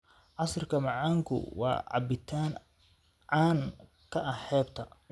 Casiirka macaanku waa cabitaan caan ka ah xeebta.